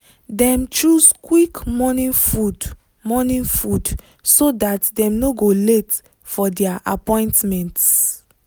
dem choose quick morning food morning food so that dem no go late for their appointments.